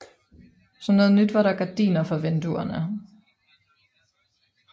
Som noget nyt var der gardiner for vinduerne